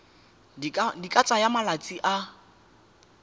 di ka tsaya malatsi a